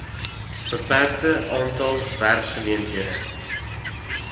beperkte aantal werkgeleenthede